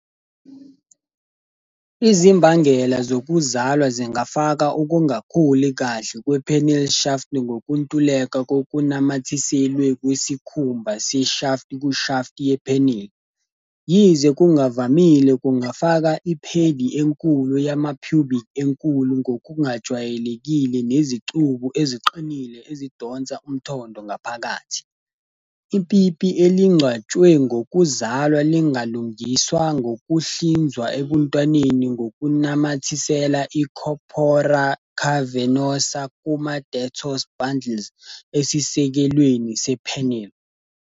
Izimbangela zokuzalwa zingafaka ukungakhuli kahle kwe-penile shaft ngokuntuleka kokunamathiselwe kwesikhumba se-shaft kushaft ye-penile. Yize kungavamile, kungafaka iphedi enkulu yama-pubic enkulu ngokungajwayelekile nezicubu eziqinile ezidonsa umthondo ngaphakathi. Ipipi elingcwatshwe ngokuzalwa lingalungiswa ngokuhlinzwa ebuntwaneni ngokunamathisela i-corpora cavernosa kuma-dartos bundles esisekelweni se-penile.